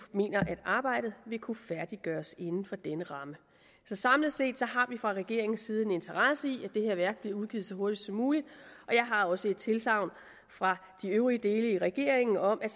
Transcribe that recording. mener at arbejdet vil kunne færdiggøres inden for denne ramme så samlet set har vi fra regeringens side en interesse i at det her værk bliver udgivet så hurtigt som muligt og jeg har også et tilsagn fra de øvrige dele af regeringen om at